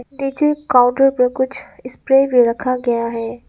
नीचे काउंटर पे कुछ स्प्रे भी रखा गया है।